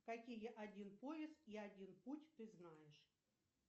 какие один поиск и один путь ты знаешь